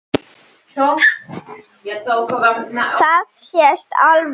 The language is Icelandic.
Það sést alveg.